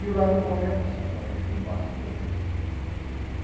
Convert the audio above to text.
E o lado bom ia passar para eles como passa a todo tempo.